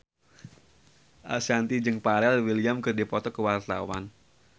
Ashanti jeung Pharrell Williams keur dipoto ku wartawan